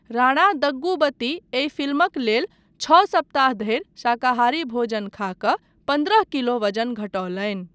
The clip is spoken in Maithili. राणा दग्गूबती एहि फिल्मक लेल छओ सप्ताह धरि शाकाहारी भोजन खा कऽ पन्द्रह किलो वजन घटौलनि।